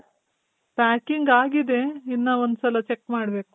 packing ಆಗಿದೆ. ಇನ್ನ ಒಂದ್ ಸಲ check ಮಾಡ್ಬೇಕು.